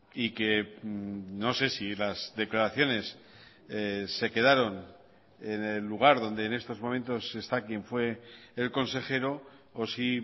y que no sé si las declaraciones se quedaron en el lugar donde en estos momentos está quien fue el consejero o si